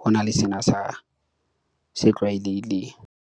ho na le sena sa se tlwaelehile.